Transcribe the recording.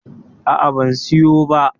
A'a, ban siyo ba.